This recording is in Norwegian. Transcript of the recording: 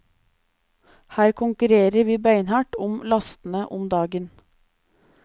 Her konkurrerer vi beinhardt om lastene om dagen.